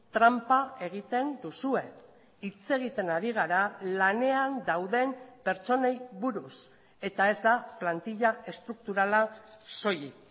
tranpa egiten duzue hitz egiten ari gara lanean dauden pertsonei buruz eta ez da plantilla estrukturala soilik